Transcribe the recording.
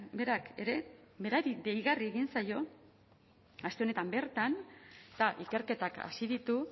berak ere berari deigarria egin zaio aste honetan bertan eta ikerketak hasi ditu